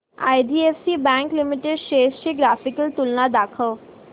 IDFC bank limited shares ची graphical तुलना दाखव